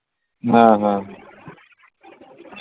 হ্যাঁ হ্যাঁ